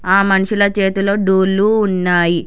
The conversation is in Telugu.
ఆ మనుషులు చేతిలో డోల్లు ఉన్నాయి.